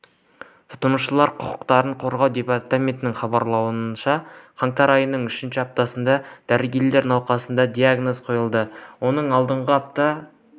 тұтынушылар құқықтарын қорғау департаментінің хабарлауынша қаңтар айының үшінші аптасында дәрігерлер науқасқа диагнозын қойды оның алдыңғы аптада